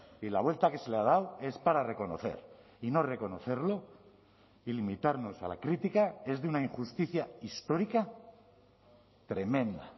y la vuelta que se le ha dado es para reconocer y no reconocerlo y limitarnos a la crítica es de una injusticia histórica tremenda